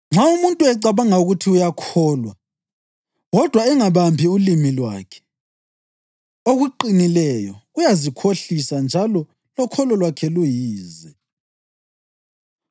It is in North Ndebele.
Nxa umuntu ecabanga ukuthi uyakholwa kodwa engabambi ulimi lwakhe okuqinileyo, uyazikhohlisa njalo lokholo lwakhe luyize.